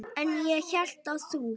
En ég hélt að þú.